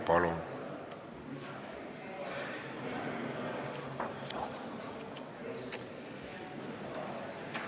Palun!